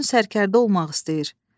Oğlun sərkərdə olmaq istəyir.